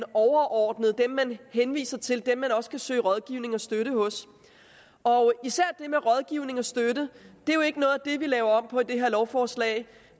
overordnede man henviser til dem man også kan søge rådgivning og støtte hos og især er det med rådgivning og støtte jo ikke noget af det vi laver om på med det her lovforslag